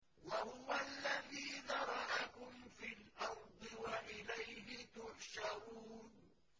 وَهُوَ الَّذِي ذَرَأَكُمْ فِي الْأَرْضِ وَإِلَيْهِ تُحْشَرُونَ